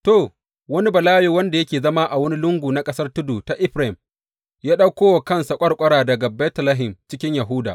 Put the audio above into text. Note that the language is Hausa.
To, wani Balawe wanda yake zama a wani lungu na ƙasar tudu ta Efraim ya ɗauko wa kansa ƙwarƙwara daga Betlehem cikin Yahuda.